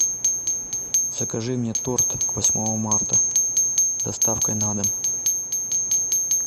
закажи мне торт к восьмому марта с доставкой на дом